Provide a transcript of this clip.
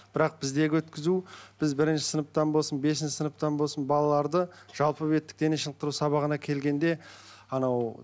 бірақ біздегі өткізу біз бірінші сыныптан болсын бесінші сыныптан болсын балаларды жалпы беттік дене шынықтыру сабағына келгенде анау